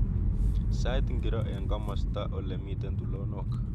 Sait ngiro eng komostab olemiten tulondok